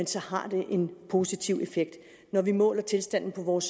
så har det en positiv effekt når vi måler tilstanden i vores